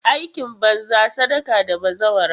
Aikin banza, sadaka da bazawara.